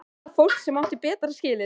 Eða fólk sem átti betra skilið?